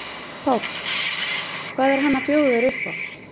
Páll: Hvað er hann að bjóða þér upp á?